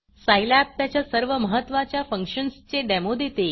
Scilab त्याच्या सर्व महत्त्वाच्या फंक्शन्सचे डेमो देते